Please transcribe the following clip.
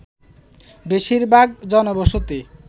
বেশিরভাগ জনবসতি